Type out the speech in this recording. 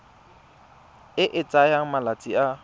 e e tsayang malatsi a